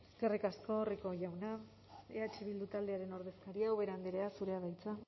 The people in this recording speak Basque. eskerrik asko rico jauna eh bildu taldearen ordezkaria ubera andrea zurea da hitza